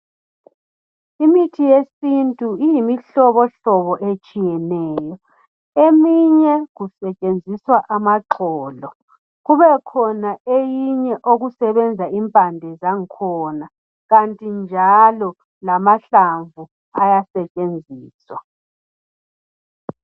Imithi yesintu iyimihlobohlobo etshiyeneyo. Eminye kusetshenziswa amaxolo, impande kanye lamahlamvu.